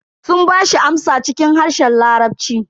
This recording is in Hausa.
Sun bashi amsa cikin harshen larabci.